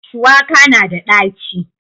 shuwaka na da ɗaci